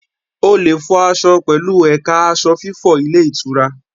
O lè fọ aṣọ pẹ̀lú ẹ̀ka aṣọ fífọ ilé ìtura.